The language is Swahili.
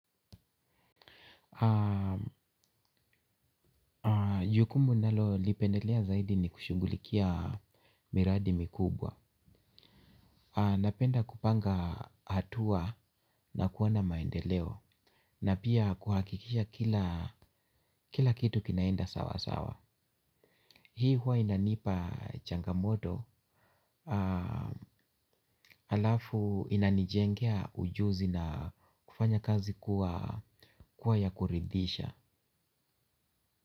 Jukumu nalo lipendelea zaidi ni kushungulikia miradi mikubwa. Napenda kupanga hatua na kuona maendeleo. Na pia kuhakikisha kila kitu kinaenda sawa sawa. Hii huwa inanipa changamoto. Alafu inanijengea ujuzi na kufanya kazi kuwa ya kuridisha.